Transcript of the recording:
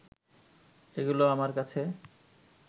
এগুলো আমার কাছে